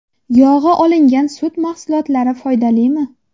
Yog‘i olingan sut mahsulotlari foydalimi?.